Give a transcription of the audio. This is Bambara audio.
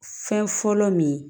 Fɛn fɔlɔ min ye